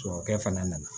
Sɔkɛ fana nana